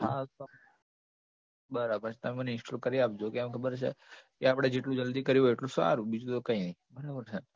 હા તો બરાબર છે તમે મને install કરી આપજો કેમ ખબર છે કે આપડે જેટલું જલ્દી કર્યું હોય એટલું સારું બીજું તો કંઈ નઈ બરાબર છે